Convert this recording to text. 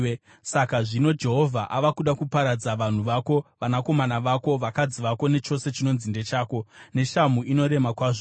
Saka zvino Jehovha ava kuda kuparadza vanhu vako, vanakomana vako, vakadzi vako nechose chinonzi ndechako, neshamhu inorema kwazvo.